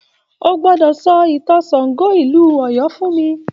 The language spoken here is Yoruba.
O gbọ́dọ̀ sọ ìtàn Ṣàngó ìlú Ọ̀yọ́ fún mi